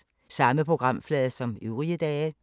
Samme programflade som øvrige dage